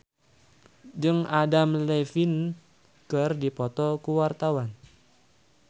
Marcel Chandrawinata jeung Adam Levine keur dipoto ku wartawan